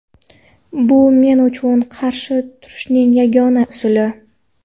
Bu men uchun qarshi turishning yagona usuli.